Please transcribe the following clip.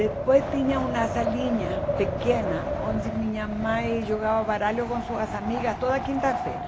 Depois tinha uma salinha pequena onde minha mãe jogava baralho com suas amigas toda quinta-feira.